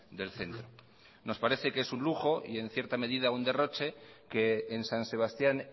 del centro nos parece que es un lujo y en cierta medida un derroche que en san sebastián